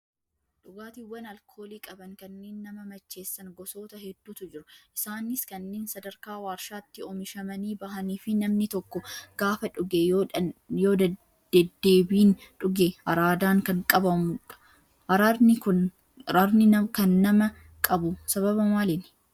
Dhugaatiiwwan alkoolii qaban kanneen nama macheessan gosoota hedduutu jiru. Isaanis kanneen sadarkaa waarshaatti oomishamanii bahanii fi namni tokko gaafa dhuge yoo deddeebiin dhuge araadaan kan qabamudha. Araadni kan nama qabu sababa maaliini?